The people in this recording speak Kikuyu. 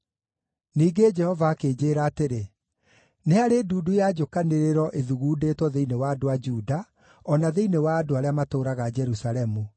Ningĩ Jehova akĩnjĩĩra atĩrĩ, “Nĩ harĩ ndundu ya njũkanĩrĩro ĩthugundĩtwo thĩinĩ wa andũ a Juda, o na thĩinĩ wa andũ arĩa matũũraga Jerusalemu.